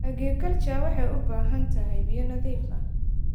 Aquaculture waxay u baahan tahay biyo nadiif ah.